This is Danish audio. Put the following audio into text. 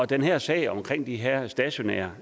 den her sag om de her stationære